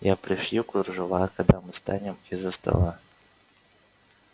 я пришью кружева когда мы встанем из-за стола